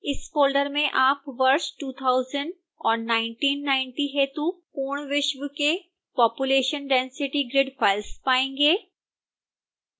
इस फोल्डर में आप वर्ष 2000 और 1990 हेतु पूर्ण विश्व के लिए population density grid files पायेंगे